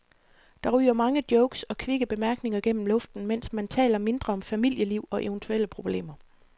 Der ryger mange jokes og kvikke bemærkninger gennem luften, mens man taler mindre om familieliv og eventuelle problemer.